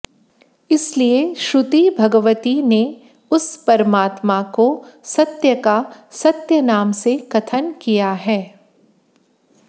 इसलिए श्रुति भगवती ने उस परमात्मा को सत्य का सत्य नाम से कथन किया है